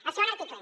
el segon article